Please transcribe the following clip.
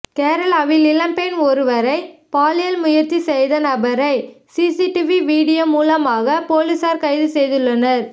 கேரளாவில் இளம் பெண் ஒருவரை பாலியல் முயற்சி செய்த நபரை சிசிடிவி வீடியோ மூலமாக போலீசார் கைது செய்துள்ளனர்